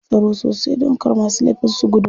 Akwai tsaro sosai domin kar masu laifi su gudu.